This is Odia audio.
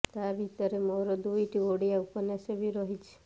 ତା ଭିତରେ ମୋର ଦୁଇଟି ଓଡ଼ିଆ ଉପନ୍ୟାସ ବି ରହିଛି